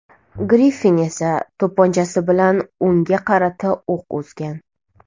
Griffin esa to‘pponchasi bilan unga qarata o‘q uzgan.